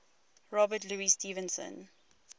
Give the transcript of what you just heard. robert louis stevenson